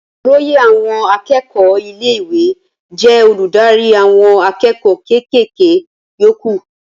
Olóyè àwọn akẹ́kọ̀ọ́ ilé ìwé jẹ́ olùdarí àwọn akẹ́kọ̀ọ́ ké ké ké yókù